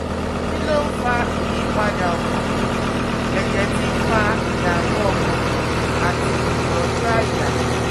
Kí ló ń fa ìyípadà ọkàn, ẹ̀jẹ̀ tí ń fa ìdààmú ọkàn àti ìrọ́jú àyà?